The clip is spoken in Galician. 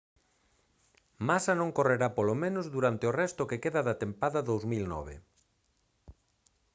massa non correrá polo menos durante o resto que queda da tempada 2009